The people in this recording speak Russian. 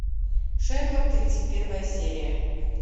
шерлок тридцать первая серия